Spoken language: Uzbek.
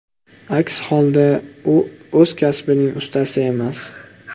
Aks holda, u o‘z kasbining ustasi emas.